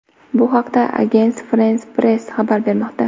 Bu haqda Agence France-Presse xabar bermoqda .